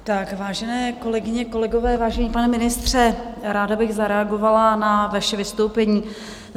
Vážené kolegyně, kolegové, vážený pane ministře, ráda bych zareagovala na vaše vystoupení.